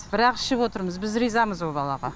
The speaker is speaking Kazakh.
бірақ ішіп отырмыз біз ризамыз о балаға